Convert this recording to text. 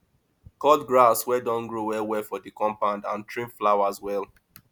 cut grass wey don grow well well for di compound and trim flowers well